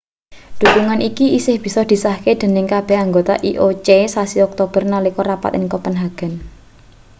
dhukungan iki isih bisa disahke dening kabeh anggota ioc sasi oktober nalika rapat ning kopenhagen